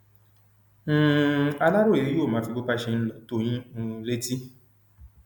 um aláròye yóò máa fi bó bá ṣe ń lọ tó yín um létí